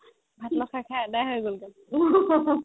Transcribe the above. খাই খাই আধা হয় গ'ল গে